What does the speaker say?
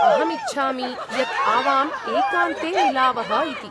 अहम् इच्छामि यत् आवाम् एकान्ते मिलावः इति।